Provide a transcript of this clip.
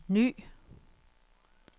ny